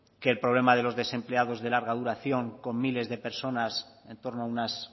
que el problemas de los empleados de larga duración con miles de personas en torno a unas